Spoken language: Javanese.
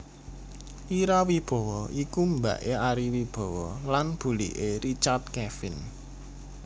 Ira Wibowo iku mbake Ari Wibowo lan bulike Richard Kevin